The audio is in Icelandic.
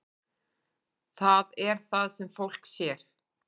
Það er það sem fólk sér.